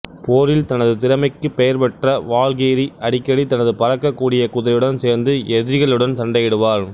போரில் தனது திறமைக்கு பெயர் பெற்ற வால்கெய்ரி அடிக்கடி தனது பறக்க கூடிய குதிரையுடன் சேர்ந்து எதிரிகளுடன் சண்டையிடுவார்